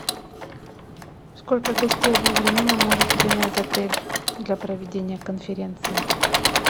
сколько гостей одновременно может принять отель для проведения конференции